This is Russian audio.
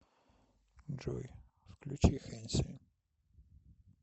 джой включи хенси